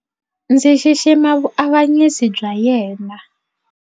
Ndzi xixima vuavanyisi bya yena.